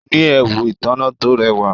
Ó ní ẹwù ìtànná tó rẹwà.